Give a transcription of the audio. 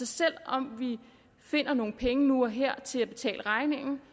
selv om vi finder nogle penge nu og her til at betale regningen